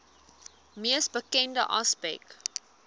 mees bekende aspek